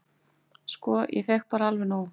"""Sko, ég fékk bara alveg nóg."""